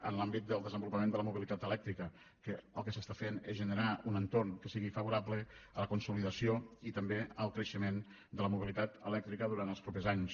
en l’àmbit del desenvolupament de la mobilitat elèctrica que el que s’està fent és generar un entorn que sigui favorable a la consolidació i també al creixement de la mobilitat elèctrica durant els propers anys